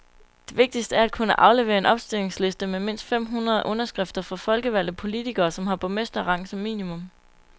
Det vigtigste er at kunne aflevere en opstillingsliste med mindst fem hundrede underskrifter fra folkevalgte politikere, som har borgmesterrang som minimum.